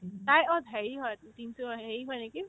তাই অ হেৰিৰ হয় তিনচুকীয়া অ হেৰিৰ হয় নেকি